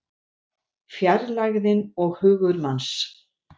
Fjarlægðin og hugur manns